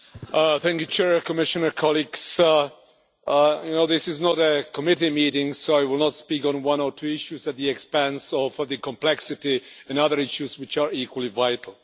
Mr President, Commissioner, colleagues, you know this is not a committee meeting, so I will not speak on one or two issues at the expense of the complexity of other issues which are equally vital.